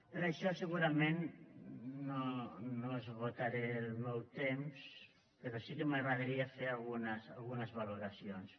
per això segurament no esgotaré el meu temps però sí que m’agradaria fer algunes valoracions